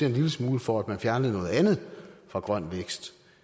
en lille smule for at man fjernede noget andet fra grøn vækst